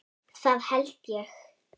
Það held ég